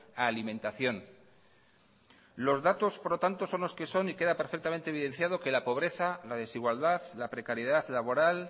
a alimentación los datos por lo tanto son los que son y queda perfectamente evidenciado que la pobreza la desigualdad la precariedad laboral